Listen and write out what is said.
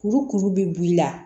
Kuru kuru bɛ b'i la